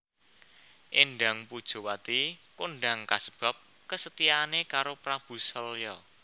Éndang Pujawati kondang kasebab kesetiaane karo Prabu Salya